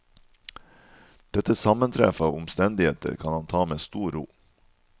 Dette sammentreff av omstendigheter kan han ta med stor ro.